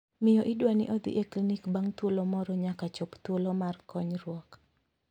Miyo idwani odhi e klinik bang' thuolo moro nyaka chop thuolo mar konyruok.